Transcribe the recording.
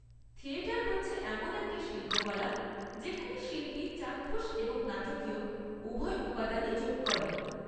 Theatre হচ্ছে এমন একটা শিল্পকলা যেখানে শিল্পী চাক্ষুষ এবং নাটকীয় উভয় উপাদানই যোগ করে।